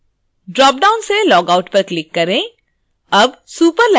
dropdown से logout पर click करें